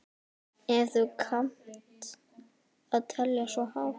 Ef þú kannt að telja svo hátt.